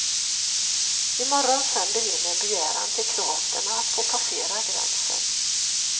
I morgon sänder vi in en begäran till kroaterna att få passera gränsen.